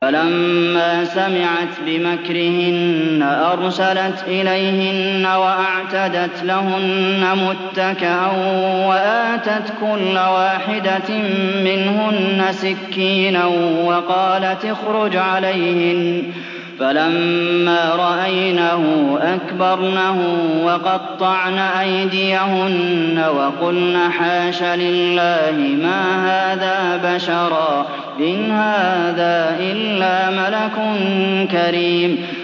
فَلَمَّا سَمِعَتْ بِمَكْرِهِنَّ أَرْسَلَتْ إِلَيْهِنَّ وَأَعْتَدَتْ لَهُنَّ مُتَّكَأً وَآتَتْ كُلَّ وَاحِدَةٍ مِّنْهُنَّ سِكِّينًا وَقَالَتِ اخْرُجْ عَلَيْهِنَّ ۖ فَلَمَّا رَأَيْنَهُ أَكْبَرْنَهُ وَقَطَّعْنَ أَيْدِيَهُنَّ وَقُلْنَ حَاشَ لِلَّهِ مَا هَٰذَا بَشَرًا إِنْ هَٰذَا إِلَّا مَلَكٌ كَرِيمٌ